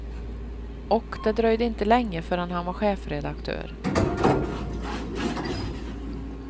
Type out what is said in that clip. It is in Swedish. Och det dröjde inte länge förrän han var chefredaktör.